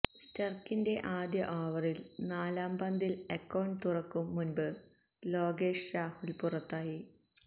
സ്റ്റാര്ക്കിന്റെ ആദ്യ ഓവറിലെ നാലാം പന്തില് അക്കൌണ്ട് തുറക്കും മുന്പ് ലോകേഷ് രാഹുല് പുറത്തായി